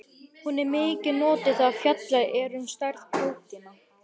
Hún er mikið notuð þegar fjallað er um stærð prótína.